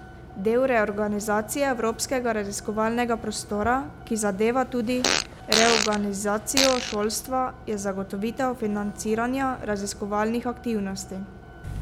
Del reorganizacije evropskega raziskovalnega prostora, ki zadeva tudi reorganizacijo šolstva, je zagotovitev financiranja raziskovalnih aktivnosti.